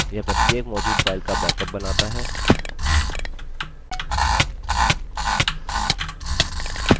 यह प्रत्येक मौजूद file का बैकअप बनाता है